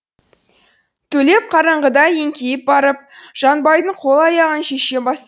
төлеп қараңғыда еңкейіп барып жанбайдың қол аяғын шеше бастады